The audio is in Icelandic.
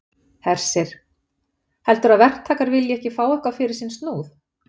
Hersir: Heldurðu að verktakar vilji ekki fá eitthvað fyrir sinn snúð?